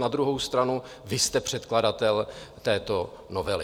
Na druhou stranu, vy jste předkladatel této novely.